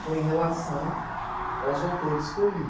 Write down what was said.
foi em relação aos autores que eu li.